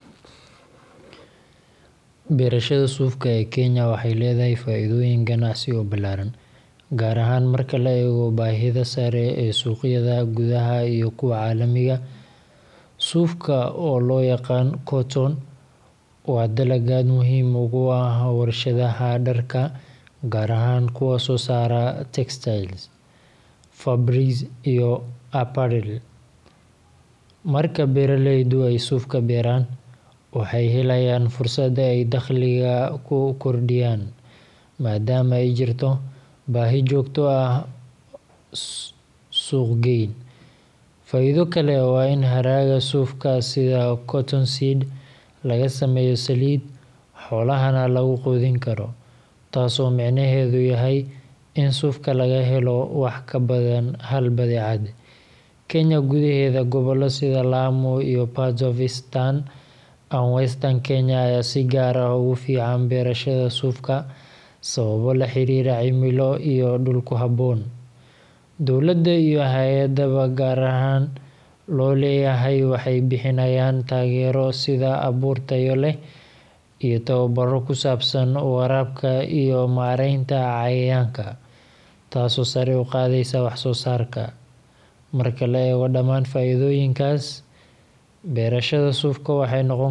Beerashada suufka ee Kenya waxay leedahay faa’iidooyin ganacsi oo ballaaran, gaar ahaan marka la eego baahida sare ee suuqyada gudaha iyo kuwa caalamiga ah. Suufku, oo loo yaqaan cotton, waa dalag aad muhiim ugu ah warshadaha dharka, gaar ahaan kuwa soo saara textiles, fabrics, iyo apparel. Marka beeraleydu ay suufka beeraan, waxay helayaan fursad ay dakhliga ku kordhiyaan, maadaama ay jirto baahi joogto ah oo ah suuq geyn. Faa’iido kale waa in hadhaaga suufka, sida cottonseed, laga sameeyo saliid, xoolahana lagu quudin karo, taasoo micnaheedu yahay in suufka laga helo wax ka badan hal badeecad. Kenya gudaheeda, gobollo sida Kwale, Lamu, iyo parts of Eastern and Western Kenya ayaa si gaar ah ugu fiican beerashada suufka sababo la xiriira cimilo iyo dhul ku habboon. Dowladda iyo hay’adaha gaarka loo leeyahay waxay bixinayaan taageero sida abuur tayo leh iyo tababarro ku saabsan waraabka iyo maaraynta cayayaanka, taasoo sare u qaadaysa wax-soo-saarka. Marka la eego dhammaan faa’iidooyinkaas, beerashada suufka waxay noqon kartaa il ganacsi.